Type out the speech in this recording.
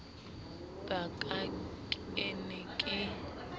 ba ka ke ne ke